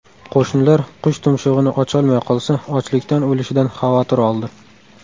Qo‘shnilar qush tumshug‘ini ocholmay qolsa, ochlikdan o‘lishidan xavotir oldi.